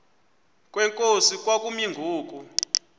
kwenkosi kwakumi ngoku